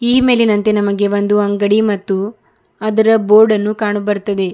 ಈ ಮೇಲಿನಂತೆ ನಮಗೆ ಒಂದು ಅಂಗಡಿ ಮತ್ತು ಅದರ ಬೋರ್ಡ್ ಅನ್ನು ಕಾಣಬರ್ತಾದೆ.